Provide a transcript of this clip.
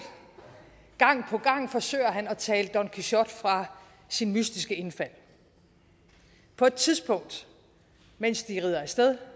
gang på gang forsøger han at tale don quixote fra sine mystiske indfald på et tidspunkt mens de rider af sted